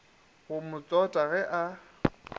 go mo tsota ge a